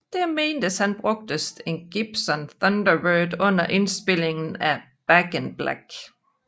Det menes at han brugte en Gibson Thunderbird under indspilningen af Back in Black